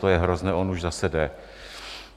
To je hrozné, on už zase jde.